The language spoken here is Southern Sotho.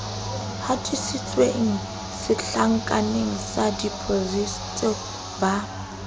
hatisitsweng setlankaneng sa depositiseo ba